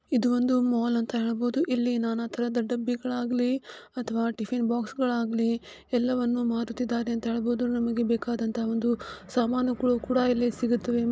ಇದು ಒಂದು ಮಾಲ್ ಅಂತಾ ಹೇಳಬಹುದು ಇಲ್ಲಿ ನಾನಂತರದ ಡಬ್ಬಿಗಳಾಗಿ ಅಥವಾ ಟಿಫನ್ ಬಾಕ್ಸ್ಗ ಳಾಗ್ಲಿ ಎಲ್ಲವನ್ನು ಮಾರುತಿದ್ದಾರೆ ಅಂತಾ ಹೇಳ್ಬಹದು ನಮಗೆ ಬೇಕಾದಂತ ಒಂದು ಸಾಮಾನುಗಳು ಕೂಡ ಕೂಡ ಇಲ್ಲಿ ಸಿಗುತ್ತದೆ --